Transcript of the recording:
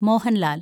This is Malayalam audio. മോഹന്‍ലാല്‍